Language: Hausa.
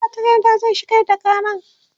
magatakarda zai shigar da karan